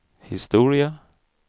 historia